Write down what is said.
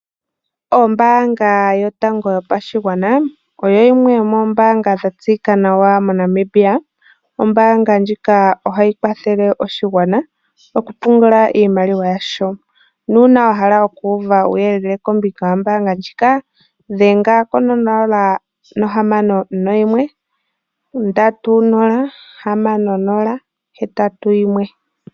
Ombanga yotango yopashigwana oyo yimwe yomoombanga dhatseyika nawa moNamibia. Ombaanga ndjika ohayi kwathele oshigwana okupungula iimaliwa. Uuna wahala okuuva uuyelele kombinga yombaanga ndjika dhenga ko nola nohamano noyimwe ndatu nola hamano nonola nohetatu noyimwe.